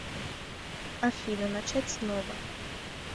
афина начать снова